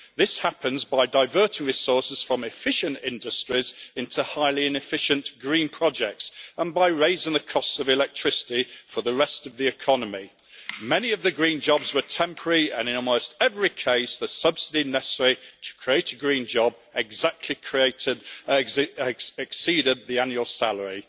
This happens by diverting resources from efficient industries into highly inefficient green projects and by raising the cost of electricity for the rest of the economy. Many of the green jobs were temporary and in almost every case, the subsidy necessary to create a green job exceeded the annual salary.